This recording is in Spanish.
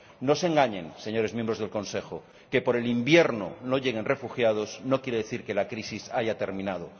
No se engañen, señores miembros del Consejo, que por el invierno no lleguen refugiados no quiere decir que la crisis haya terminado.